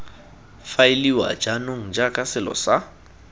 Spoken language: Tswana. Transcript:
faeliwa jaanong jaaka selo sa